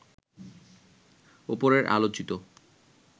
ওপরে আলোচিত